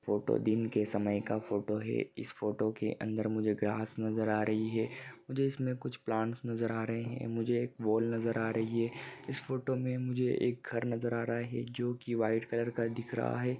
Photo दिन के समय का फोटो है इस फोटो के अंदर मुझे ग्रास नजर आ रही है मुझे इसमे कुछ प्लांट्स नजर आ रहे है मुझे एक वोल नजर आ रही है इस फोटो मे मुझे एक घर नजर आ रहा है जो की व्हाइट कलर दिख रहा है।